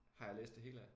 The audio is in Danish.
Har jeg læst det hele af